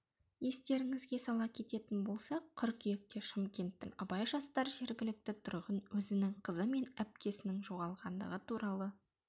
естеріңізге сала кететін болсақ қыркүйекте шымкенттің абай жасар жергілікті тұрғын өзінің қызы мен әпкесінің жоғалғандығы туралы